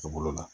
U bolo la